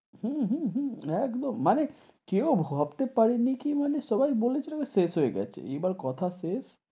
হূ, হূ, হূ একদন মানে কেউ ভাবতে পারে নি কি মানে সবাই বলে ছিল যে শেষ হয়ে গেছে, এবার কথা শেষ,